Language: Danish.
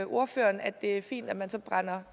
ordføreren at det er fint at man så brænder